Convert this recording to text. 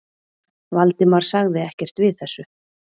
Valdimar sagði ekkert við þessu.